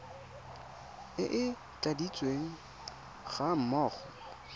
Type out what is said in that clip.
e e tladitsweng ga mmogo